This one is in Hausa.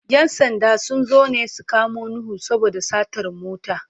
‘Yan sanda sun zo ne su kamo Nuhu saboda satar mota.